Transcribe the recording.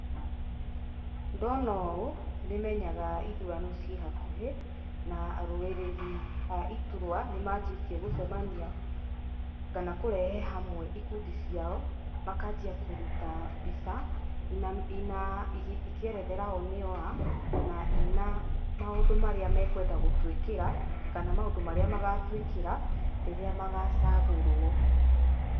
Ndona ũũ, nĩ menyaga ithurano ciĩ hakuhĩ, na arũĩrĩri a iturwa nĩ manjĩtie gũcemania kana kũrehe hamwe ikundi ciao, makanjia kuruta mbica, ina, ina ikĩerethera o nĩo a, na ina maũndũ marĩa mekwenda gũtũĩkĩra kana maũndũ marĩa magatũĩkĩra rĩrĩa magacagũrwo.